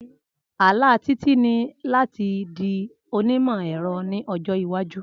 Ala Titi ni lati di onimọ-ẹrọ ni ọjọ iwaju.